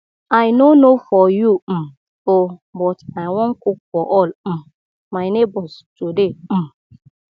i no know for you um oo but i wan cook for all um my neighbors today um